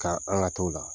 Ka an ka t'o la